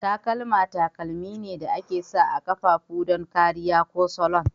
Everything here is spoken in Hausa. Takalma takalmi ne da aka sa a ƙafafu don kariya ko salon.